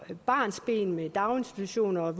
barnsben med vuggestuepladser daginstitutioner